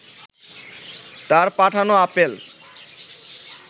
তাঁর পাঠানো আপেল